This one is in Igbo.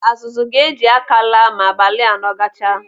Azụzụ ga-eji aka laa ma abalị anọ gachaa.